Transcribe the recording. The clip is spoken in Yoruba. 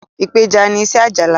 ipeja ní iṣé Ajala.